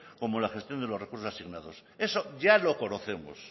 como en la gestión de los recursos asignados eso ya lo conocemos